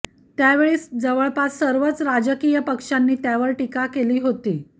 त्यावेळी जवळपास सर्वच राजकीय पक्षांनी त्यावर टीका केली होती